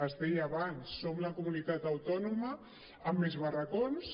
es deia abans som la comunitat autònoma amb més barracons